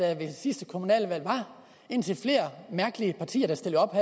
der ved sidste kommunalvalg var indtil flere mærkelige partier der stillede op